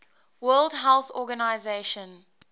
world health organization